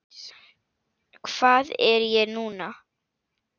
Hvað er ég núna?